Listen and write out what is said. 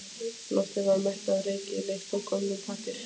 Loftið var mettað af ryki og lykt af gömlum pappír.